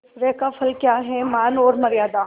ऐश्वर्य का फल क्या हैमान और मर्यादा